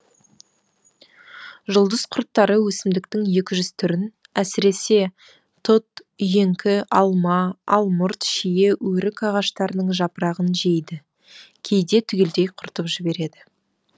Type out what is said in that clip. жұлдыз құрттары өсімдіктің екі жүз түрін әсіресе тұт үйеңкі алма алмұрт шие өрік ағаштарының жапырағын жейді кейде түгелдей құртып жібереді